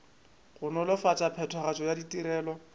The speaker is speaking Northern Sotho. go nolofatša phethagatšo ya ditirelo